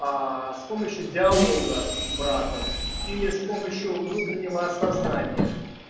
а с помощью диалога с братом или с помощью внутреннего осознания